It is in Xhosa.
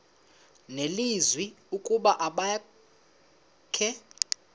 nelizwi ukuba abakhe